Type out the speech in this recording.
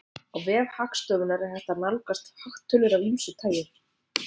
Á vef Hagstofunnar er hægt að nálgast hagtölur af ýmsu tagi.